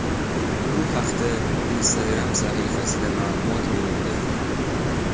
Bu haqda Instagram sahifasida ma’lumot berildi .